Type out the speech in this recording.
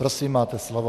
Prosím, máte slovo.